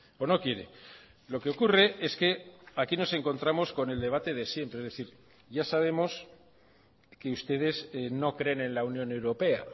o no quiere lo que ocurre es que aquí nos encontramos con el debate de siempre es decir ya sabemos que ustedes no creen en la unión europea